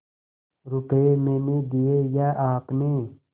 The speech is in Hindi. रुपये मैंने दिये या आपने